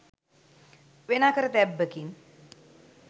වෙන අකරතැබ්බකින්